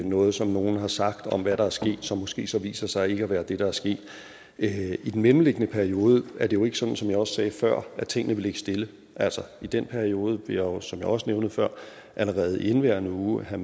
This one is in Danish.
noget som nogen har sagt om hvad der er sket som måske så viser sig ikke at være det der er sket i den mellemliggende periode er det jo ikke sådan som jeg også sagde før at tingene vil ligge stille altså i den periode vil jeg jo som jeg også nævnte før allerede i indeværende uge have